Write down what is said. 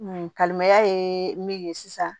Kalilimaya ye min ye sisan